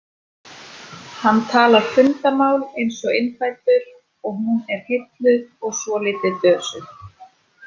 Hann talar fundamál eins og innfæddur og hún er heilluð og svolítið dösuð.